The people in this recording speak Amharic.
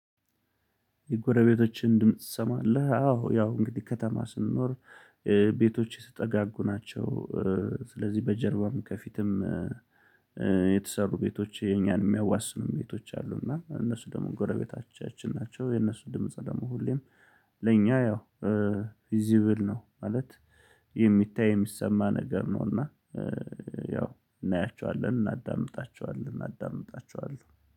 የጎረቤቶችን ድምጽ ትሰማለህ? አዎ ያው እንግዲህ ከተማ ስንኖር ቤቶች የተጠጋጉ ናቸው። ስለዚህ በጀርባም ከፊትም የተሰሩ ቤቶች የኛን የሚያዋስኑ ቤቶች አሉ። እና እነሱ ደግሞ ጎረቤቶቻችን ናቸው። የነሱ ድምጽ ደግሞ ሁሌም ለኛ ያው ቪዚብል ነው ማለት የሚታይ የሚሰማ ነገር ነው። እና ያው እናያቸዋለን እናዳምጣቸዋለን እናዳምጣቸዋለን